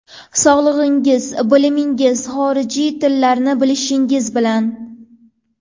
Sog‘lomligingiz, bilimingiz, xorijiy tillarni bilishingiz bilan.